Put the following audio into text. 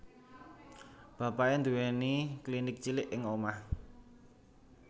Bapake nduweni klinik cilik ing omah